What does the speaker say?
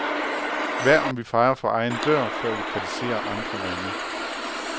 Hvad om vi fejer for egen dør, før vi kritiserer andre lande.